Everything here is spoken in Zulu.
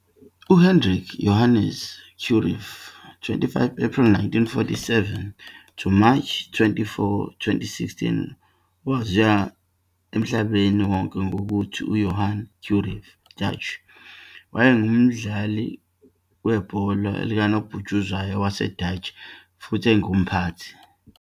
UHendrik Johannes Cruijff, 25 April 1947 to March 24, 2016, owaziwa emhlabeni wonke ngokuthi UJohan Cruyff, Dutch, wayengumdlali ibhola likanobhutshuzwayo waseDashi futhi engumphathi.